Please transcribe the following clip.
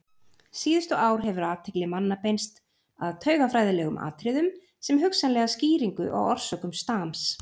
Síðustu ár hefur athygli manna beinst að taugafræðilegum atriðum sem hugsanlegri skýringu á orsökum stams.